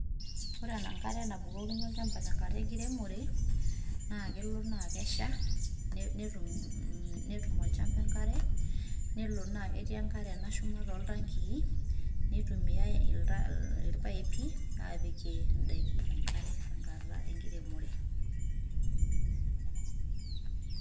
Ore enkare nabukokini olchamba tenkata enkiremore, naa kelo na kesha, netum olchamba enkare. Nelo na ketii enkare nashuma toltankii, nitumiai irpaipi apikie idaiki enkare tenkata enkiremore.